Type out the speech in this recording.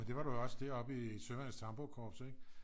det var det nu også deroppe i søværnets tamburkorps ik